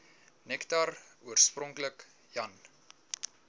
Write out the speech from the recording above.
nektar oorspronklik jan